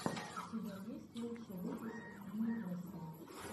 у тебя есть лучший выпуск никлэсса